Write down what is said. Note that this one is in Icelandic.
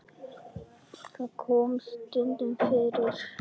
Það kom stundum fyrir.